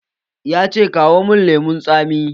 Ya ce "Kawo mun lemun tsami"!